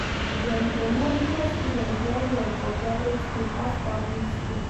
Dem dey monitor students well-well for private skool pass public skool.